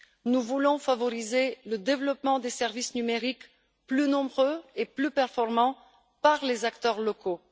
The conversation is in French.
Nous voulons favoriser le développement de services numériques plus nombreux et plus performants par les acteurs locaux.